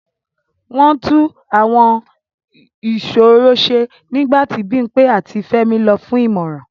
Wọ́n tún Àwọn ìṣòro ṣe nígbà tí Bimpe àti Femi lọ fún ìmọ̀ràn.